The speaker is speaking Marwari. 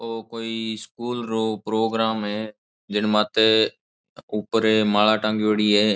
ओ कोई स्कूल रो प्रोग्राम है जिनमाते ऊपरे माला टांग्योड़ी है।